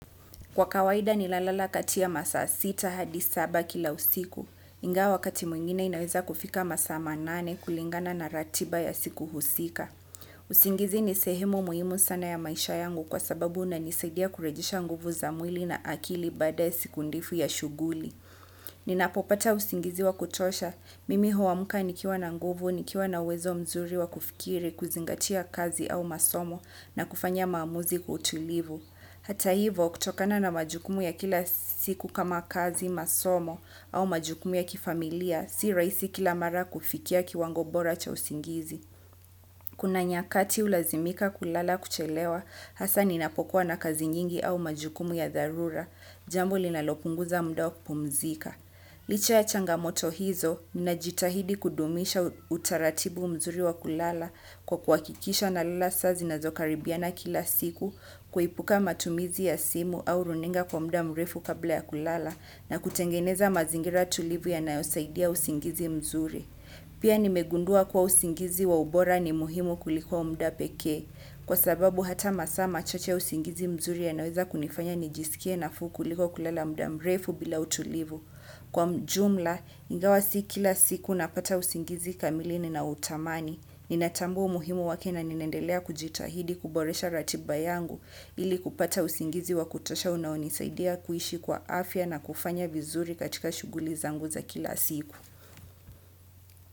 Kwa kawaida ninalala kati ya masaa sita hadi saba usiku ingawa wakati mwingine inaweza kufika masaa manane kulingana na ratiba ya siku husika. Uzingizi nisehemu muhimu sana ya maisha yangu kwa sababu ina nisaidia kurejesha nguvu za mwili na akili baada ya siku ndefu ya shughuli. Ninapopata usingizi wa kutosha, mimi huamka nikiwa na nguvu, nikiwa na uwezo mzuri wa kufikiri, kuzingatia kazi au masomo na kufanya maamuzi kwa utulivu. Hata hivo, kutokana na majukumu ya kila siku kama kazi, masomo, au majukumu ya kifamilia, si rahisi kila mara kufikia kiwango bora cha usingizi. Kuna nyakati hulazimika kulala kuchelewa, hasa ninapokuwa na kazi nyingi au majukumu ya dharura, jambo linalopunguza muda wa kupumzika. Licha ya changamoto hizo na jitahidi kudumisha utaratibu mzuri wa kulala kwa kuhakikisha na lala saa zi na zokaribiana kila siku kuepuka matumizi ya simu au runinga kwa muda mrefu kabla ya kulala na kutengeneza mazingira tulivu ya na yosaidia usingizi mzuri. Pia nimegundua kuwa usingizi waubora ni muhimu kuliko muda pekee, kwa sababu hata masaa machache ya usingizi mzuri yanaweza kunifanya nijisikie nafuu kuliko kulala mudamrefu bila utulivu. Kwa jumla, ingawa si kila siku napata usingizi kamili ni na utamani. Ninatambua umuhimu wake na ninaendelea kujitahidi kuboresha ratiba yangu ili kupata usingizi wa kutosha unaonisaidia kuishi kwa afya na kufanya vizuri katika shughuli zangu za kila siku.